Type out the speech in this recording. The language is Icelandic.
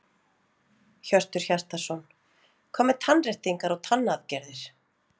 Hjörtur Hjartarson: Hvað með tannréttingar og tannaðgerðir?